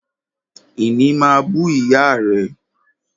Ìní máa bú ìyá rẹ̀